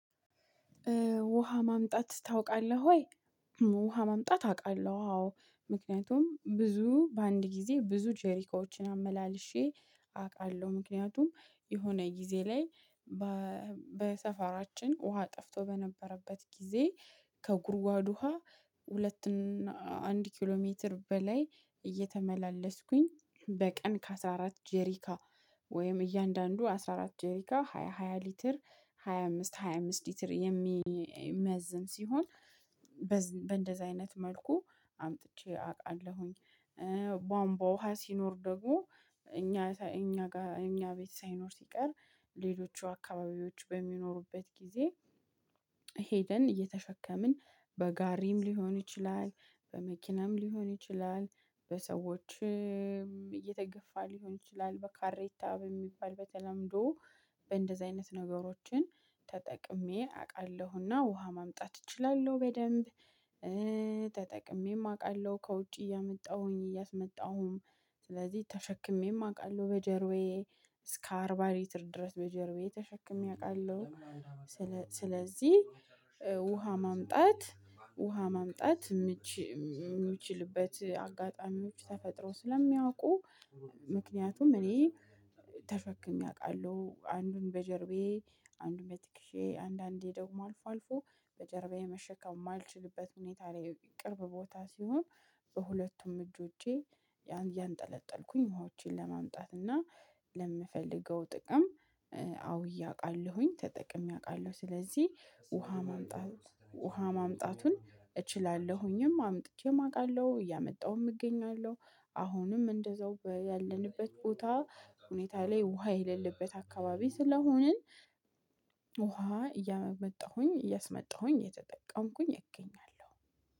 ውሃ ማምጣት ታውቃለህ ወይ? ውሃ ማምጣት አውቃለሁ። አዎ ምክንያቱም ብዙ በአንድ ጊዜ ብዙ ጀሪካኖችን አመላልሼ አውቃለሁ ምክንያቱም የሆነ ጊዜ ላይ በሰፈራችን ውሃ ጠፍቶ በነበረበት ጊዜ ከጉድጓድ ውሃ ሁለት አንድ ኪሎ ሜትር በላይ እየተመላለስኩኝ በቀን ከአስራ አራት ጀሪካን ወይም እያንዳንዱ አስራ አራት ጄሪካን ሃያ ሃያ ሊትር ሃያ አምስት ሃያ አምስት ሊትር የሚመዝን ሲሆን በእንደዚህ አይነት መልኩ አምጥቼ አውቃለሁኝ። ቧምቧ ውሃ ሲኖር ደግሞ እኛ እኛ ጋር እኛ ቤት ሳይኖር ሲቀር ሌሎቹ አካባቢዎች በሚኖሩበት ጊዜ ሄደን እየተሸከምን በጋሪም ሊሆን ይችላል በመኪናም ሊሆን ይችላል በሰዎችም እየተገፋ ሊሆን ይችላል በካሬታ በሚባል በተለምዶ በእንደዚህ አይነት ነገሮችን ተጠቅሜ አውቃለሁና ውሃ ማምጣት እችላለሁ በደንብ። ተጠቅሜም አውቃለሁ ከውጪ እያመጣሁኝ እያስመጣሁም ስለዚህ ተሸክሜም አውቃለሁ በጀርባዬ እስከ አርባ ሊትር ድረስ በጀርባዬ ተሸክሜ አውቃለሁ። ስለዚህ ውሃ ማምጣት ውሃ ማምጣት የምችልበት አጋጣሚዎች ተፈጥሮ ስለሚያውቁ። ምክንያቱም እኔ ተሸክሜ አውቃለሁ አንዱን በጀርባዬ አንዱን በትከሻዬ አንዳንዴ ደግሞ አልፎ አልፎ በጀርባዬ መሸከም የማልችልበት ሁኔታ ላይ ቅርብ ቦታ ሲሆን በሁለቱም እጆቼ ያን እያንጠለጠልኩኝ ዉሀዋቼን ለማምጣት እና ለምፈልገው ጥቅም አዉዬ አቃለሁ ተጠቅሜ አውቃለሁ። ስለዚህ ውሃ ማምጣት ውሃ ማምጣቱን እችላለሁኝም አምጥቼም አውቃለሁ እያመጣሁም እገኛለሁ። አሁንም እንደዛው ያለንበት ቦታ ሁኔታ ላይ ውሃ የሌለበት አካባቢ ስለሆንን ውሃ እያመጣሁኝ እያስመጣሁኝ እየተጠቀምኩኝ እገኛለሁ